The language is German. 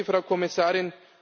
sehr geehrte Frau Kommissarin,